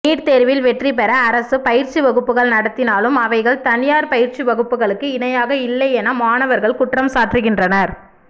NEET தேர்வில் வெற்றிபெறஅரசுபயிற்சிவகுப்புகள் நடத்தினாலும் அவைகள் தனியார்பயிற்சிவகுப்புகளுக்கு இணையாக இல்லை எனமாணவர்கள் குற்றம் சாற்றுகின்றனர்